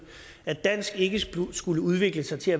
at dansk ikke skulle udvikle sig til